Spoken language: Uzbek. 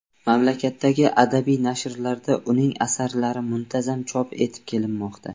Mamlakatdagi adabiy nashrlarda uning asarlari muntazam chop etib kelinmoqda.